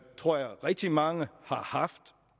tror at rigtig mange har haft